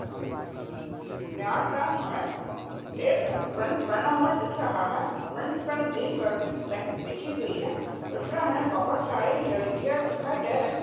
यहाँ पर हमे एक मंच बना हुआ दिख रहा है मंच पर ग्रीन मेट बिछी हुई है उसमे हमे बहुत सारे लड़कियां दिखाई दे रही--